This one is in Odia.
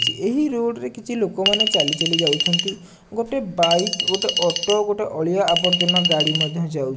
ଏହି ରୋଡ ରେ କିଛି ଲୋକ ମାନେ ଚାଲି ଚାଲି ଯାଉଛନ୍ତି ଗୋଟେ ବାଇକ୍ ଗୋଟେ ଅଟୋ ଗୋଟେ ଅଳିଆ ଆବର୍ଜ୍ଜନା ଗାଡ଼ି ମଧ୍ୟ ଯାଉ --